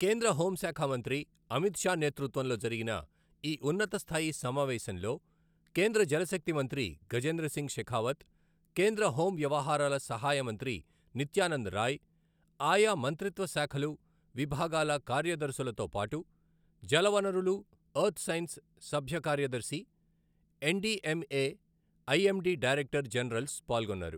కేంద్ర హోంశాఖ మంత్రి అమిత్ షా నేతృత్వంలో జరిగిన ఈ ఉన్నతస్థాయి సమావేశంలో కేంద్ర జలశక్తి మంత్రి గజేంద్రసింగ్ షెఖావత్, కేంద్ర హోం వ్యవహారాల సహాయ మంత్రి నిత్యానంద్ రాయ్, ఆయా మంత్రిత్వశాఖలు, విభాగాల కార్యదర్శులతోపాటు జలవనరులు, ఎర్త్ సైన్స్ సభ్యకార్యదర్శి, ఎన్డీఎంఏ, ఐఎండీ డైరెక్టర్ జనరల్స్ పాల్గొన్నారు.